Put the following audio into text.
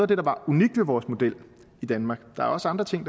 det der var unikt ved vores model i danmark der er også andre ting